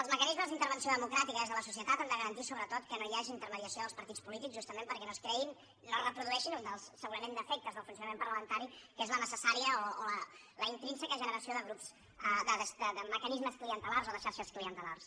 els mecanismes d’intervenció democràtica des de la societat han de garantir sobretot que no hi hagi intermediació dels partits polítics justament perquè no es reprodueixin un dels defectes del funcionament parlamentari que és la necessària o la intrínseca generació de mecanismes clientelars o de xarxes clientelars